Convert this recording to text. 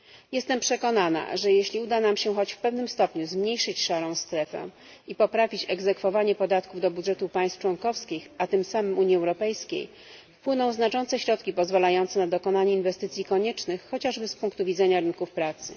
Jestem przekonana, że jeśli uda nam się choć w pewnym stopniu zmniejszyć szarą strefę i poprawić egzekwowanie podatków do budżetu państw członkowskich, a tym samym Unii Europejskiej, wpłyną tam znaczące środki pozwalające na dokonanie inwestycji koniecznych chociażby z punktu widzenia rynków pracy.